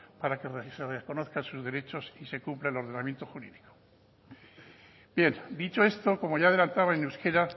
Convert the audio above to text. para que se le reconozcan sus derechos y se cumpla el ordenamiento jurídico bien dicho esto como ya he adelantado en euskera